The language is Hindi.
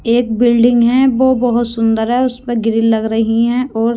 एक बिल्डिंग है वो बहोत सुंदर है उसमें ग्रिल लग रही है और--